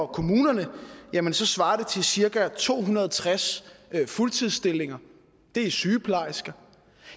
kommunerne jamen så svarer det til cirka to hundrede og tres fuldtidsstillinger det er sygeplejersker